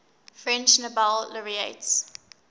french nobel laureates